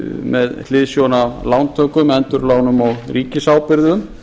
með hliðsjón af lántökum endurlánum og ríkisábyrgðum